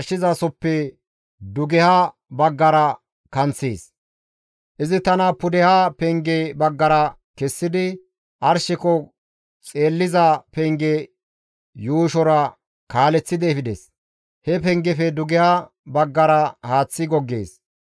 Izi tana pudeha penge baggara kessidi, arsheko xeelliza penge yuushora kaaleththidi efides. He pengefe dugeha baggara haaththi goggees.